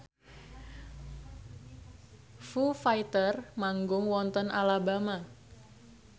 Foo Fighter manggung wonten Alabama